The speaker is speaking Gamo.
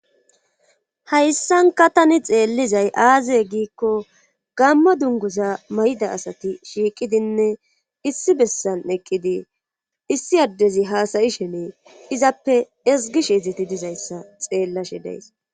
hayssanka tani xeellizay aaze giikko gamma dunguza mayda asati shiiqidinne issi bessan eqqidi issi addezi haasayi shenee izappe esgi shiezeti dizayssa xeellashe days